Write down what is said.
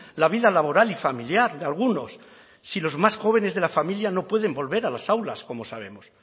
la vida laboral y familiar de algunos si los más jóvenes de la familia no pueden volver a las aulas como sabemos